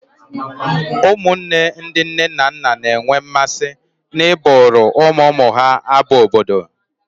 Ụmụnne ndị nne na nna na-enwe mmasị n'ịbụụrụ ụmụ ụmụ ha abụ obodo